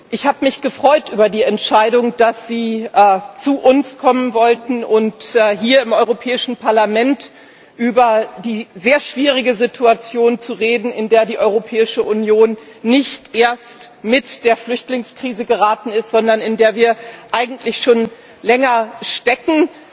Ich habe mich gefreut über die Entscheidung, dass Sie zu uns kommen wollen, um hier im Europäischen Parlament über die sehr schwierige Situation zu reden, in die die Europäische Union nicht erst mit der Flüchtlingskrise geraten ist, sondern in der wir eigentlich schon länger stecken.